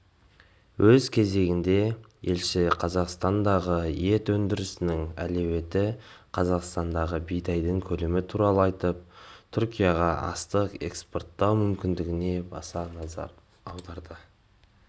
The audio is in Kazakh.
өз кезегінде елші қазақстандағы ет өндірісінің әлеуеті қазақстандағы бидайдың көлемі туралы айтып түркияға астық экспорттау мүмкіндігіне баса назар аударды